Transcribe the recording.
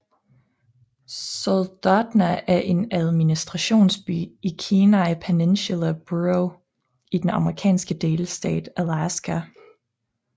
Soldotna er administrationsby i Kenai Peninsula Borough i den amerikanske delstat Alaska